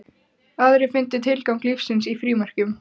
Aðrir fundu tilgang lífsins í frímerkjum.